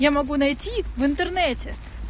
я могу найти в интернете